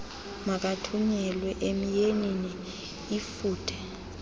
makathunyelwe emyeniinl lfuthe